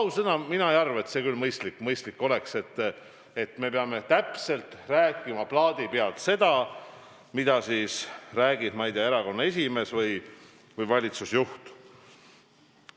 Ausõna, mina ei arva, et see mõistlik oleks, et me peaksime rääkima nagu plaadi pealt seda, mida räägib kas erakonna esimees või valitsusjuht.